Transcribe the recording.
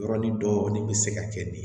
Yɔrɔnin dɔɔnin bɛ se ka kɛ ni